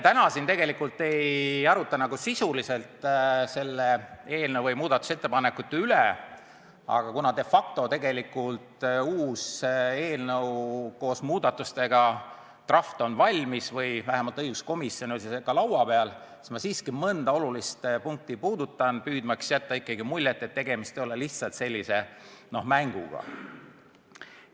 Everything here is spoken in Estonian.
Täna me siin tegelikult ei aruta sisuliselt selle eelnõu või muudatusettepanekute üle, aga kuna de facto on uus eelnõu koos muudatustega valmis, draft on valmis või vähemalt õiguskomisjonis on see laua peal, siis ma siiski mõnda olulist punkti puudutan, püüdmaks teid veenda, et tegemist ei ole lihtsalt mänguga.